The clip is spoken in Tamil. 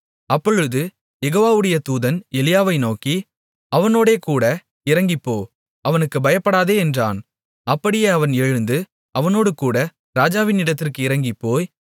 அப்பொழுது யெகோவாவுடைய தூதன் எலியாவை நோக்கி அவனோடேகூட இறங்கிப்போ அவனுக்குப் பயப்படாதே என்றான் அப்படியே அவன் எழுந்து அவனோடேகூட ராஜாவினிடத்திற்கு இறங்கிப்போய்